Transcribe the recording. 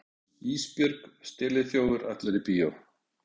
Ísbjörg steliþjófur ætlar í bíó.